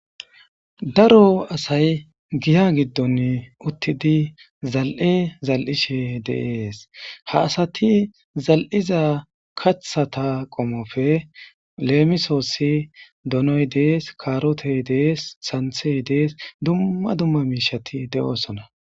Daro asay giya giddon uttidi zal7e zal7ishe deees ha asati zal7iza kathata qomofe leemisoossi donoy dees kaarote dees santhe dees dumma dumma miishati de7oosona.